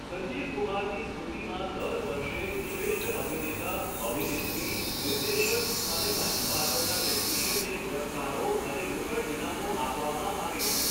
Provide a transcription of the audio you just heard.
સંજીવ કુમારની સ્મૃતિમાં દર વર્ષે શ્રેષ્ઠ અભિનેતા, અભિનેત્રી, નિર્દેશક અને મંચ પાછળના ટેકનિશ્યિનને પુરસ્કારો અને રોકડ ઇનામો આપવામાં આવે છે.